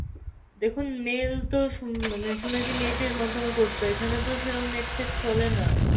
দেখুন mail তো শু~ মানে শুনেছি net এর মাধ্যমে করতে হয়, এখানে তো সেরকম net ফেট চলেনা।